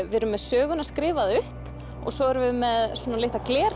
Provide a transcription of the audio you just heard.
við erum með söguna skrifaða upp og svo erum við með